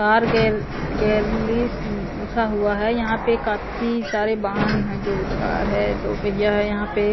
बाहर लिखा हुआ है यहाँ पे काफी सारे वाहन हैं जो कार है दो पहिया है यहाँ पे ।